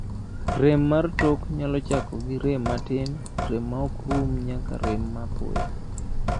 rem mar tok nyalo chako gi rem matin, rem ma ok rum nyaka rem ma apoya